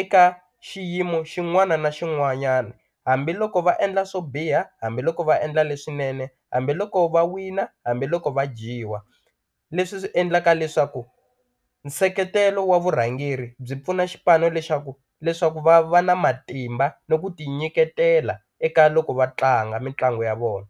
eka xiyimo xin'wana na xin'wanyana hambiloko va endla swo biha hambiloko va endla leswinene hambiloko va wina hambiloko va dyiwa leswi swi endlaka leswaku nseketelo wa vurhangeri byi pfuna xipano lexaku leswaku va va na matimba ni ku ti nyiketela eka loko va tlanga mitlangu ya vona.